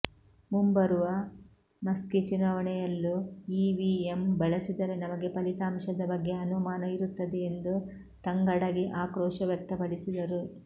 ಮುಂಬರುವ ಮಸ್ಕಿ ಚುನಾವಣೆಯಲ್ಲೂ ಇವಿಎಂ ಬಳಸಿದರೆ ನಮಗೆ ಫಲಿತಾಂಶದ ಬಗ್ಗೆ ಅನುಮಾನ ಇರುತ್ತದೆ ಎಂದು ತಂಗಡಗಿ ಆಕ್ರೋಶ ವ್ಯಕ್ತಪಡಿಸಿದರು